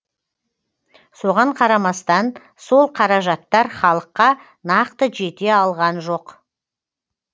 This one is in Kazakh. соған қарамастан сол қаражаттар халыққа нақты жете алған жоқ